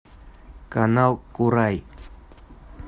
канал курай